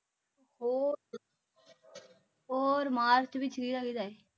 ਹੋਰ ਹੋਰ ਮਾਰਚ ਵਿਚ ਵੀ ਕਿਹਦਾ ਏ